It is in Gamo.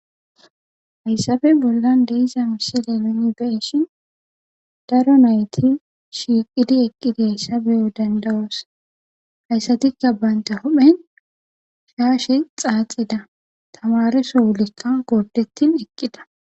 hayssafe bollan deiza misile mini beshin daro nayti shiiqidi eqqideyssa beyo dandawoos hayssatikka baynta hophen shaashe xaaxida tamareso wulekka gordetin eqqida